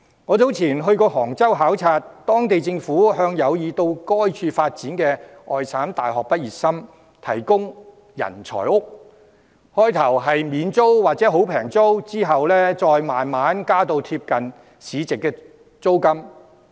我早前到過杭州考察，當地政府向有意到該處發展的外省大學畢業生提供"人才屋"，開始時是免租金或低租金，之後再慢慢調升至貼近市值租金水平。